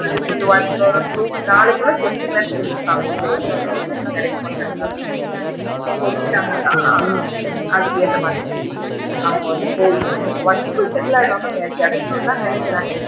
அவுங்களுக்கு வந்து one or two நாளைக்குள்ள சொல்லிடுவேன்னு சொல்லி இருக்காங்க இங்க owner வந்து கிடைக்குமா கிடைக்காதான்னு so சொல்லிட்டங்கன்னா அதுக்கு ஏத்த மாதிரி அவுங்க வந்து போயி one week குள்ள settle ஆகிடுவாங்க கிடைக்கும்ன்னு தான் நினைக்கிறன்.